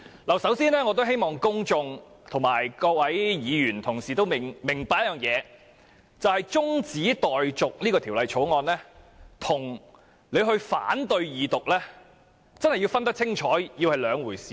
我首先希望公眾和各位議員同事明白，中止待續《條例草案》和反對《條例草案》二讀是兩回事。